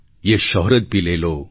યે શૌહરત ભી લે લો